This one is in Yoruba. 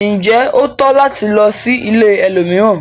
Njé o tọ́ láti lò sí ìlẹ̀ ẹlòmíràn?